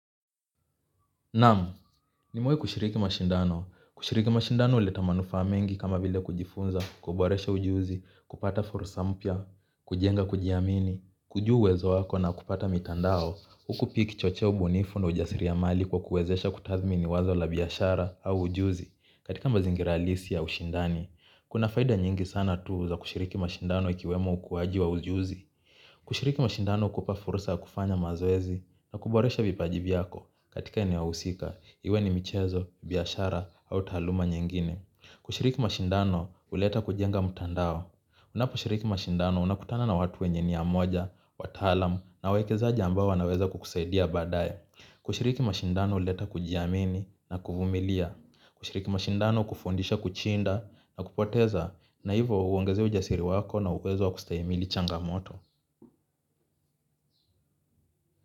Naam, nimewai kushiriki mashindano. Kushiriki mashindano huleta manufaa mengi kama vile kujifunza, kuboresha ujuzi, kupata fursa mpya, kujenga kujiamini, kujua uwezo wako na kupata mitandao. Huku piki chochea ubunifu na ujasiri ya mali kwa kuwezesha kutathmini wazo la biashara au ujuzi. Katika mazingira halisi ya ushindani, kuna faida nyingi sana tu za kushiriki mashindano ikiwemo ukuaji wa ujuzi. Kushiriki mashindano hukupa fursa ya kufanya mazoezi na kuboresha vipaji vyako katika eneo husika, iwe ni michezo, biashara au taaluma nyingine. Kushiriki mashindano huleta kujenga mtandao. Unapo shiriki mashindano unakutana na watu wenye nia moja, wataalam na wekezaji ambao wanaweza kukusaidia badaye. Kushiriki mashindano huleta kujiamini na kuvumilia. Kushiriki mashindano hukufundisha kuchinda na kupoteza na hiyvo hauongeze ujasiri wako na uwezo wa kustahimili changamoto.